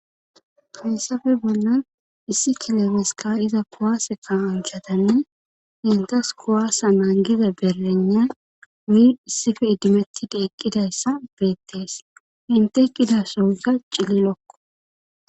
Haysafe bollan issi kilemeska iza kuwaase ka unchatanne intas kuwaasa naangiza berlena wui issife idimettidi eqqidayssa beettees hinte kidasoyssa cililokko.